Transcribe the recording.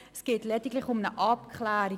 Es geht lediglich um eine Abklärung.